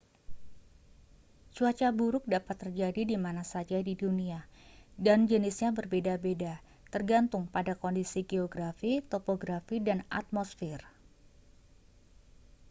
cuaca buruk dapat terjadi di mana saja di dunia dan jenisnya berbeda-beda tergantung pada kondisi geografi topografi dan atmosfer